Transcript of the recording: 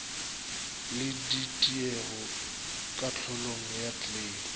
le ditiego kahlolong ya kleime